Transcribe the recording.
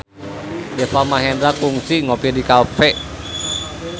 Deva Mahendra kungsi ngopi di cafe